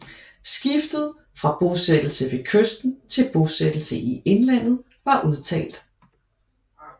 Skiftet fra bosættelse ved kysten til bosættelse i indlandet var udtalt